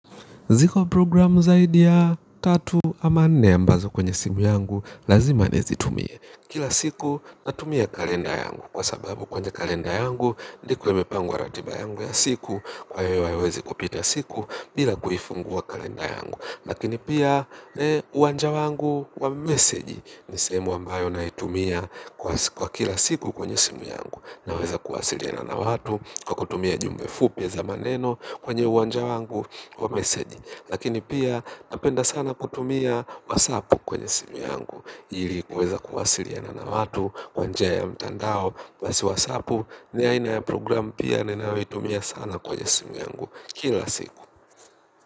Ziko programu zaidi ya tatu ama nne ambazo kwenye simu yangu lazima nizitumie. Kila siku natumia kalenda yangu kwa sababu kwenye kalenda yangu ndiko imepangwa wa ratiba yangu ya siku kwa yoyo ayo wezi kupita siku bila kuhifungua kalenda yangu. Lakini pia uanja wangu wa meseji nisemu ambayo nahitumia kwa kila siku kwenye simu yangu. Naweza kuwasilina na watu kwa kutumia jumbe fupi za maneno kwenye uanja wangu wa meseji. Lakini pia napenda sana kutumia whatsaap kwenye simu yangu ilikuweza kuwasuiliana na watu kwa njia ya mtandao basi whatsaao ni aina ya programu ninayoitumia sana kwenye simu yangu kila siku.